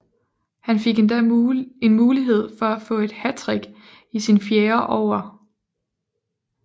Han fik endda en mulighed for at få et hattrick i sin fjerde over